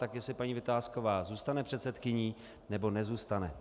Tak jestli paní Vitásková zůstane předsedkyní, nebo nezůstane.